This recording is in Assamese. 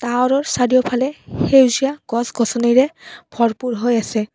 টাৱাৰ ৰ চাৰিওফালে সেউজীয়া গছ-গছনিৰে ভৰপূৰ হৈছে।